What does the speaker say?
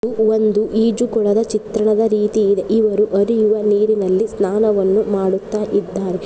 ಇದು ಒಂದು ಈಜು ಕೊಳದ ಚಿತ್ರಣದ ರೀತಿ ಇದೆ ಇವರು ಹರಿಯುವ ನೀರಿನಲ್ಲಿ ಸ್ನಾನವನ್ನು ಮಾಡುತ್ತಾ ಇದ್ದಾರೆ.